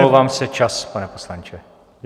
Omlouvám se, čas, pane poslanče.